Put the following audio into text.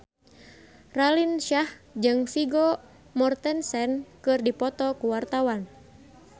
Raline Shah jeung Vigo Mortensen keur dipoto ku wartawan